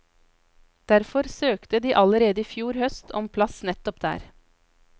Derfor søkte de allerede i fjor høst om plass nettopp der.